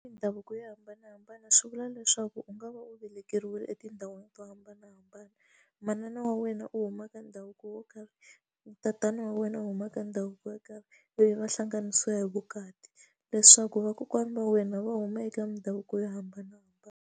Mindhavuko yo hambanahambana swi vula leswaku u nga va u velekiwile etindhawini to hambanahambana manana wa wena u huma ka ndhavuko wo karhi tatana wa wena u huma ka ndhavuko yo karhi leyi va hlanganisa hi vukati leswaku vakokwana va wena va huma eka mindhavuko yo hambanahambana.